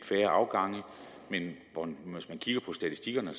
færre afgange men hvis man kigger på statistikkerne